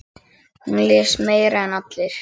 Hún les meira en allir.